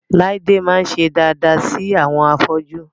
Láídé máa ń ṣe daada sí àwọn afọ́jú